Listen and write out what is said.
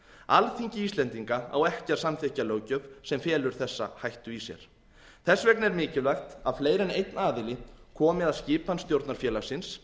alþingi íslendinga á ekki að samþykkja löggjöf sem felur þessa hættu í sér þess vegna er mikilvægt að fleiri en einn aðili komi að skipan stjórnar félagsins